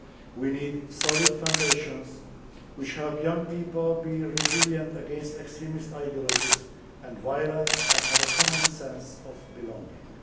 We need solid foundations which help young people to be resilient against extremist ideologies and violence, and have a common sense of belonging.